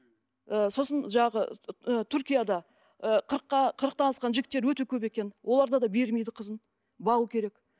ы сосын жаңағы ы түркияда ы қырықтан асқан жігіттер өте көп екен оларда да бермейді қызын бағу керек